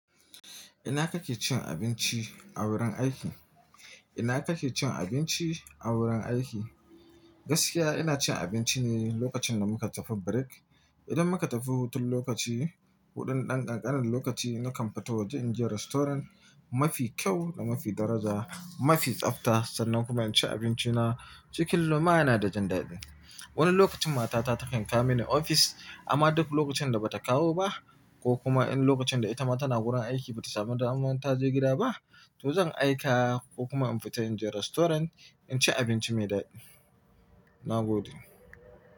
Ina kake cin abinci a wurin aiki? Ina kake cin abinci a wurin aiki? Gaskiya ina cin abinci ne lokacin da muka tafi break. Idan muka tafi hutun lokaci, hutun ɗan ƙanƙanin lokaci nakan fita waje in je restaurant mafi kyau da mafi daraja, mafi tsabta sannan kuma in ci abinci na. Cikin lumana da jin daɗi. Wani lokacin matata takan kawo mini ofis amma duk lokacin da ba ta kawo ba ko kuma in lokacin da ita ma tana wurin aiki ba ta samu daman ta je gida ba, to zan aika ko kuma in fita in je restaurant in ci abinci mai daɗi. Na gode.